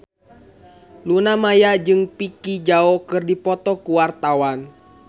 Luna Maya jeung Vicki Zao keur dipoto ku wartawan